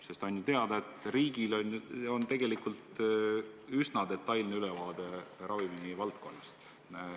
Sest on ju teada, et riigil on tegelikult üsna detailne ülevaade ravimivaldkonnast.